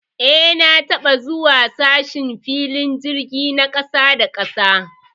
Eh, na taba zuwa sashen filin jirgi na kasa da kasa.